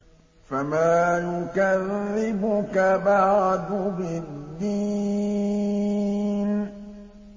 فَمَا يُكَذِّبُكَ بَعْدُ بِالدِّينِ